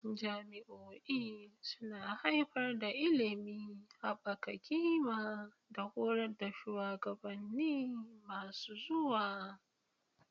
Jami'o'i suna haifar da ilimi, haɓaka ƙima, da horar da shugabanni masu zuwa.